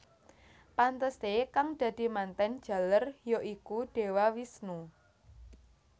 Pantesé kang dadi mantèn jaler ya iku Dewa Wisnu